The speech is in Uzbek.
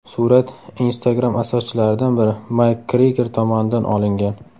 Surat Instagram asoschilaridan biri Mayk Kriger tomonidan olingan.